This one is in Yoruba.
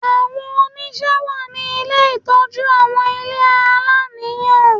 Àwọn oṣìṣẹ́ wà ní ilé ìtọ́jú àwọn ilé aláìníìyá